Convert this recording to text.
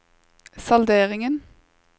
salderingen